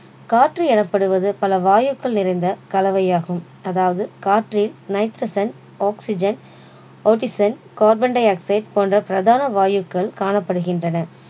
காற்று எனப்படுவது பல வாயுக்கள் நிறைந்த கலவையாகும் அதாவது காற்றில் nitrogen oxygen carbon di-oxide போன்ற பிரதான வாயுக்கள் காணப்படுகின்றன